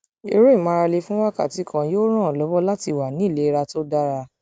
eré ìmárale fún wákàtí kan yóò ràn ọ lọwọ láti wà ní ìlera tó dára